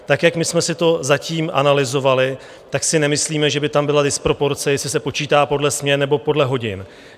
Tak jak my jsme si to zatím analyzovali, tak si nemyslíme, že by tam byla disproporce, jestli se počítá podle směn, nebo podle hodin.